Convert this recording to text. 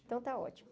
Então está ótimo.